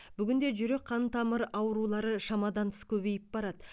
бүгінде жүрек қан тамыры аурулары шамадан тыс көбейіп барады